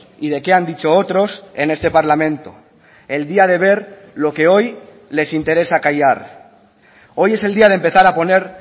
y de qué han dicho otros en este parlamento el día de ver lo que hoy les interesa callar hoy es el día de empezar a poner